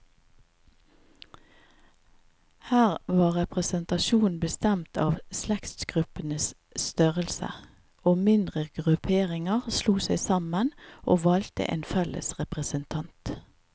Her var representasjonen bestemt av slektsgruppenes størrelse, og mindre grupperinger slo seg sammen, og valgte en felles representant.